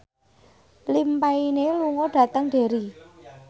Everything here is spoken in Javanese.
Liam Payne lunga dhateng Derry